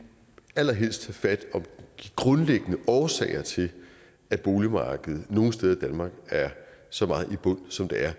allerhelst tage fat om de grundlæggende årsager til at boligmarkedet nogle steder i danmark er så meget i bund som det er